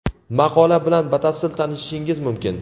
Maqola bilan batafsil tanishishingiz mumkin.